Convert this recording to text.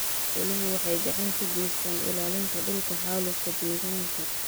Xooluhu waxay gacan ka geystaan ??ilaalinta dhulka xaalufka deegaanka.